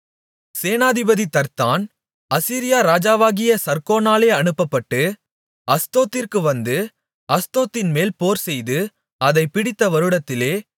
சேனாதிபதி தர்த்தான் அசீரியா ராஜாவாகிய சர்கோனாலே அனுப்பப்பட்டு அஸ்தோத்திற்கு வந்து அஸ்தோத்தின்மேல் போர்செய்து அதைப் பிடித்த வருடத்திலே